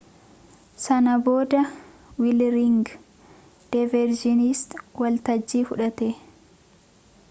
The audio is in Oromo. san booda wiirliingi deerviishis waltajjii fudhate